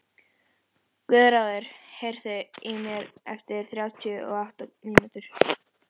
Guðráður, heyrðu í mér eftir þrjátíu og átta mínútur.